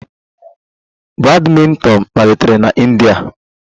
Badminton malitere na India